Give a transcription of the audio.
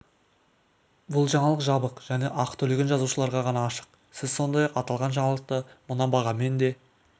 бұл жаңалық жабық және ақы төлеген жазылушыларға ғана ашық сіз сондай-ақ аталған жаңалықты мына бағамен де